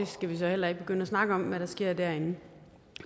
skal så heller ikke begynde at snakke om hvad der sker derinde